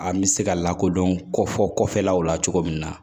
An bɛ se ka lakodɔn kɔ fɔ kɔfɛlaw la cogo min na